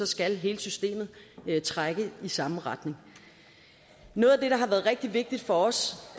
skal hele systemet trække i samme retning noget af det der har været rigtig vigtigt for os